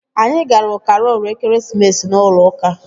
Anyị gara karol ekeresimesi n'ụlọ ụka